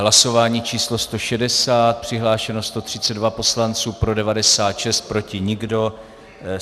Hlasování číslo 160, přihlášeno 132 poslanců, pro 96, proti nikdo.